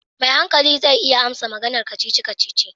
Mai hankali zai iya amsa maganar kacici kacici.